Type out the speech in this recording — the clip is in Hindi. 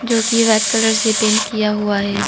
जो की वाइट कलर से पेंट किया हुआ है।